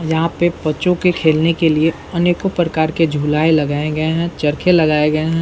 यहाँ पे बच्चों के खेलने के लिए अनेकों प्रकार के झुलाए लगाए गए हैं चरखे लगाए गए हैं।